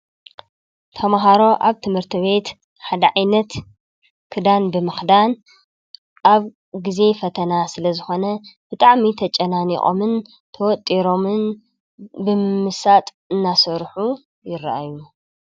ተምሃሮ አብ ትምህርቲ ቤት ሓደ ዓይነት ክዳን ብምክዳን አብ ግዘ ፈተና ስለዝኾነ ብጣዕሚ ትጨናኒቆምን ትወጢሮምን ብምምሳጥ እናሰርሑ ይረአዩ።